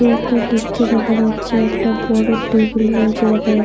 কি একটা লিখছে দেখা যাচ্ছে। একটা বড় টেবিল রয়েছে দেখা যাচ্--